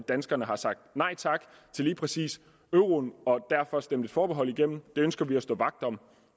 danskerne har sagt nej tak til lige præcis euroen og derfor stemte et forbehold igennem det ønsker vi at stå vagt om